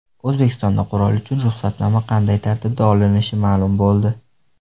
O‘zbekistonda qurol uchun ruxsatnoma qanday tartibda olinishi ma’lum bo‘ldi.